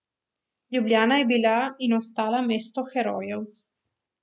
Ljubljana je bila in ostala mesto herojev.